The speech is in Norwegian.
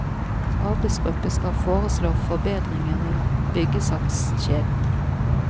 Arbeidsgruppe skal foreslå forbedringer i byggesakskjeden.